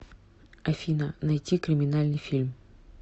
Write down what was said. афина найти криминальный фильм